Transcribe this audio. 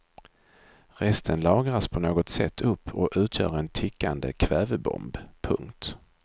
Resten lagras på något sätt upp och utgör en tickande kvävebomb. punkt